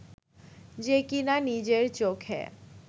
যে কিনা নিজের চোখে